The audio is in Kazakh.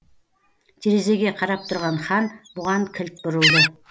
терезеге қарап тұрған хан бұған кілт бұрылды